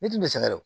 Ne dun bɛ sɛgɛn